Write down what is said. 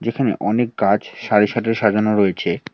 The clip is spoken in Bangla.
এখানে অনেক গাছ সারি সারি সাজানো রয়েছে।